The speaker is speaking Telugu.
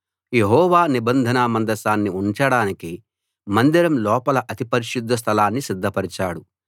యెహోవా నిబంధన మందసాన్ని ఉంచడానికి మందిరం లోపల అతి పరిశుద్ధ స్థలాన్ని సిద్ధపరిచాడు